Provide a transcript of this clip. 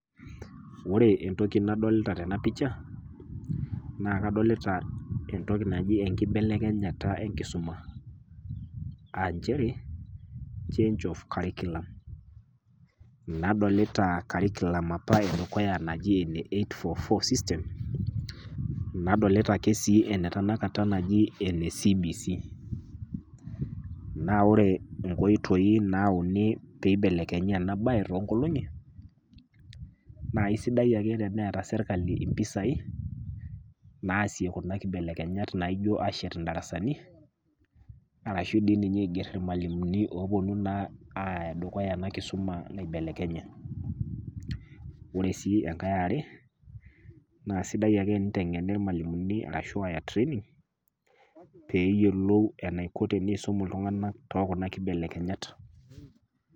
Ore entoki nadolita tena picha naa kadolita entoki naji enkibelekenyata enkisuma. [Aa] nchere change of curriculum. Nadolita curriculum apa edukuya naji ene 8-4-4 system, nadolita ake sii enetenakata naji ene CBC. Naa ore inkoitoi naauni peeibelekenyi enabaye toonkolong'i naa aisidai ake teneeta serkali impisai naasie kuna kibelekenyat naaijo ashet indarasani arashu dii ninye aigerr ilmalimuni oopuonu naa aaya dukuya ena kisuma naibelekenye. Ore sii engae e are na sidai ake eneiteng'eni ilmalimuni arashu aya training peeyiolou enaiko teneisum iltung'anak tookuna kibelekenyat.